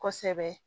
Kosɛbɛ